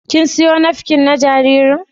Kin siyo nafkin na jaririn?